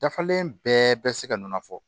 Dafalen bɛɛ bɛ se ka nɔnɔ fɔ